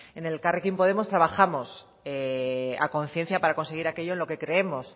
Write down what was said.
en elkarrekin podemos trabajamos a conciencia para conseguir aquello en lo que creemos